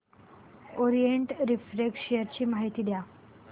Orient Refract share ची माहिती द्या